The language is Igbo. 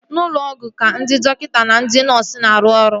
N'ụlọ ọgwụ ka ndị dọkịta na ndị nọọsu na-arụ ọrụ